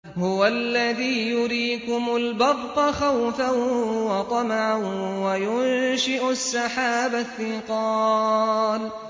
هُوَ الَّذِي يُرِيكُمُ الْبَرْقَ خَوْفًا وَطَمَعًا وَيُنشِئُ السَّحَابَ الثِّقَالَ